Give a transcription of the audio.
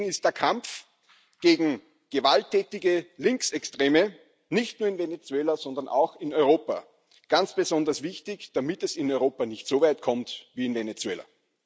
Deswegen ist der Kampf gegen gewalttätige Linksextreme nicht nur in Venezuela, sondern auch in Europa ganz besonders wichtig, damit es in Europa nicht so weit kommt wie in Venezuela.